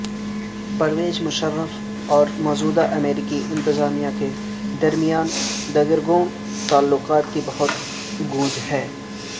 پرویز مشرف اور موجودہ امریکی انتظامیہ کے درمیاں دگرگوں تعلقات کی بہت گونج ہے